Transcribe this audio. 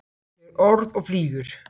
Fer orð og flýgur.